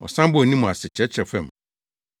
Ɔsan bɔɔ ne mu ase kyerɛkyerɛw fam.